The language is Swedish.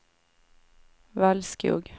Valskog